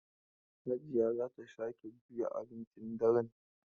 Hajiya za ta sake juya abincin daren.